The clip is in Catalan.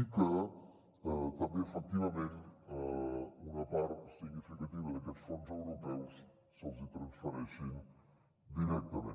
i que també efectivament una part significativa d’aquests fons europeus se’ls transfereixen directament